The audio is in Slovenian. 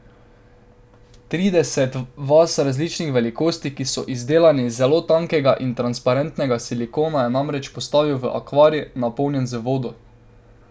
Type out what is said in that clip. Trideset vaz različnih velikosti, ki so izdelane iz zelo tankega in transparentnega silikona, je namreč postavil v akvarij, napolnjen z vodo.